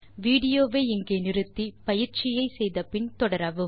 விடியோவை இங்கே இடைநிறுத்தி கொடுத்த பயிற்சியை செய்தபின் தொடரவும்